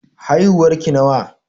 Haihuwar ki nawa?